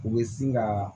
U bɛ sin ka